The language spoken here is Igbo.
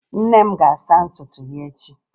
Nne m ga-asa ntutu ya echi